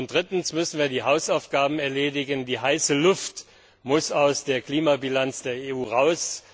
Drittens müssen wir die Hausaufgaben erledigen. Die heiße Luft muss aus der Klimabilanz der EU heraus.